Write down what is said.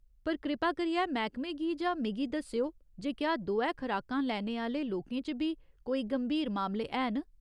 पर कृपा करियै मैह्कमे गी जां मिगी दस्सेओ जे क्या दोऐ खराकां लैने आह्‌ले लोकें च बी कोई गंभीर मामले हैन।